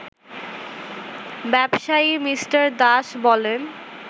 ব্যবসায়ী মি. দাস বলেন